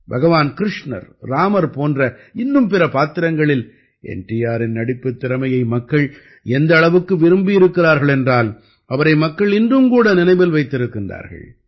பகவான் கிருஷ்ணர் இராமர் போன்ற இன்னும் பிற பாத்திரங்களில் என் டி ஆரின் நடிப்புத் திறமையை மக்கள் எந்த அளவுக்கு விரும்பியிருக்கிறார்கள் என்றால் அவரை மக்கள் இன்றும் கூட நினைவில் வைத்திருக்கின்றார்கள்